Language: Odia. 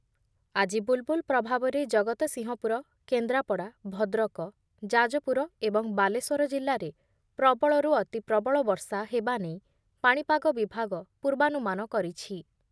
ଆଜି ବୁଲ୍‌ବୁଲ୍ ପ୍ରଭାବରେ ଜଗତସିଂହପୁର, କେନ୍ଦ୍ରାପଡ଼ା, ଭଦ୍ରକ, ଯାଜପୁର ଏବଂ ବାଲେଶ୍ଵର ଜିଲ୍ଲାରେ ପ୍ରବଳରୁ ଅତିପ୍ରବଳ ବର୍ଷା ହେବା ନେଇ ପାଣିପାଗ ବିଭାଗ ପୂର୍ବାନୁମାନ କରିଛି ।